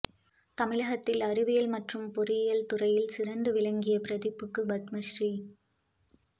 தமிழகத்தில் அறிவியல் மற்றும் பொறியியல் துறையில் சிறந்து விளங்கிய பிரதீப்புக்கு பத்மஸ்ரீ